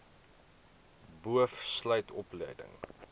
boov sluit opleiding